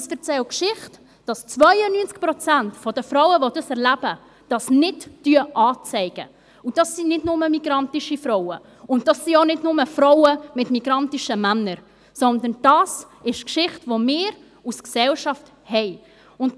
Und sie erzählen die Geschichte, dass 92 Prozent der Frauen, die dies erleben, dies nicht anzeigen, und das sind nicht nur migrantische Frauen und auch nicht nur Frauen mit migrantischen Männern, sondern das ist die Geschichte, die als Gesellschaft haben.